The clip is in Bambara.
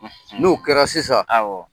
N'o kɛra sisan, awɔ.